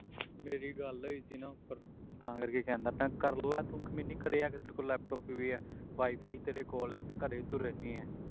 ਮੇਰੀ ਗੱਲ ਹੋਈ ਸੀ ਨਾ ਉਪਰ ਤਾਂ ਕਰਕੇ ਕਹਿਣਾ ਪਿਆ ਕਰ ਲੈ ਤੂੰ ਕਮੀਨੀ ਤੇਰੇ ਕੋਲ laptop ਵੀ ਹੈ wi-fi ਤੇਰੇ ਕੋਲ ਹੈ ਘਰੇ ਤੂੰ ਰਹਿੰਨੀ ਐਂ